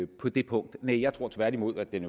på det punkt jeg tror tværtimod at den